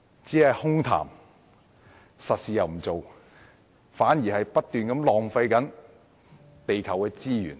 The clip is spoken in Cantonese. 只是空談而不做實事，反而會不斷浪費地球的資源。